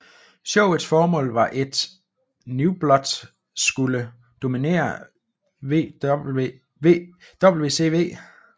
Showets formål var et New Blood skulle dominere WCW